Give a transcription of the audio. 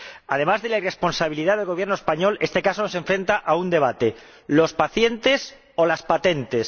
Además de la irresponsabilidad del Gobierno español, este caso nos enfrenta a un debate ¿los pacientes o las patentes?